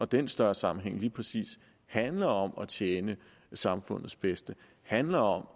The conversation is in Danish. den større sammenhæng lige præcis handler om at tjene samfundets bedste handler om